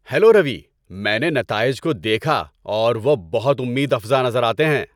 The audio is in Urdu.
ہیلو روی، میں نے نتائج کو دیکھا اور وہ بہت امید افزا نظر آتے ہیں۔